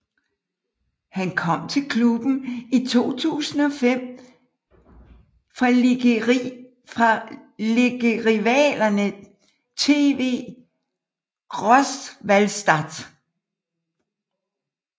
Han kom til klubben i 2005 fra ligerivalerne TV Großwallstadt